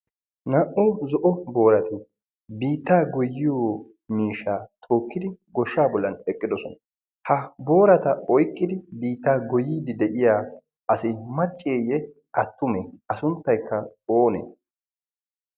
naa"u zo'o boorati biittaa goyiyo miishaa tookkidi goshshaa bollan eqqidosona ha boorata oyqqidi biittaa goyiiddi de'iya asi macceeyye attumee a sunttaykka oonee